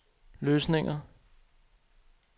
løsninger